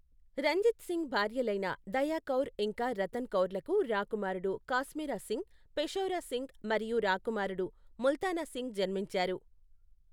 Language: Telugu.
రంజిత్ సింగ్ భార్యలైన దయా కౌర్ ఇంకా రతన్ కౌర్లకు రాకుమారుడు కాశ్మీరా సింగ్, పెషౌరా సింగ్ మరియు రాకుమారుడు ముల్తానా సింగ్ జన్మించారు.